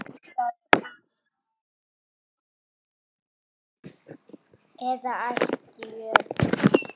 eða ætt jötuns